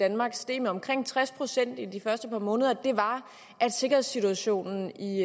danmark steg med omkring tres procent i de første par måneder var at sikkerhedssituationen i